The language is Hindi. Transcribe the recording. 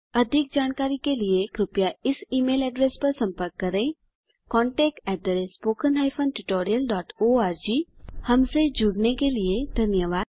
अधिक जानकारी के लिए कृपया इस ई मेल एड्रेस पर सम्पर्क करें contactspoken tutorialorg हमसे जुड़ने के लिए धन्यवाद